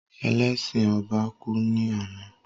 Ẹlẹ́sin ọba kú ní àná